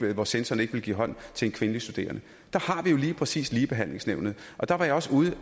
hvor censoren ikke ville give hånd til en kvindelig studerende der har vi jo lige præcis ligebehandlingsnævnet og der var jeg også ude